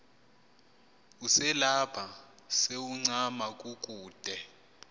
uselapha sewuncama kukude